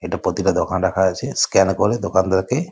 এটা প্রতিটা দোকানে রাখা আছে। স্ক্যান করে দোকানদারকে --